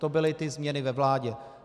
To byly ty změny ve vládě.